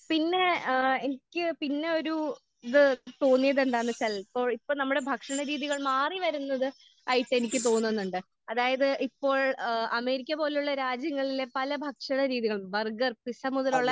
പിന്നെ അങ്ങനെ ഏഹ് എനിക്ക് ഏഹ് പിന്നെ ഒരു ഇത് തോന്നിയത് എന്താന്ന് വെച്ചാൽ ഇപ്പോൾ ഇപ്പോൾ നമ്മുടെ ഭക്ഷണ രീതികൾ മാറി വരുന്നത് ആയിട്ട് എനിക്ക് തോന്നുന്നുണ്ട്. അതായത് ഇപ്പോൾ ഏഹ് അമേരിക്ക പോലെയുള്ള രാജ്യങ്ങളില് പല ഭക്ഷണ രീതികൾ ബർഗർ പിസ്സ മുതലുള്ള